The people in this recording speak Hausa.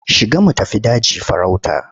Shiga mu tafi daji farauta.